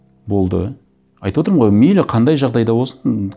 болды айтып отырмын ғой мейлі қандай жағдай да болсын